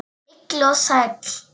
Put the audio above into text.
Heill og sæll!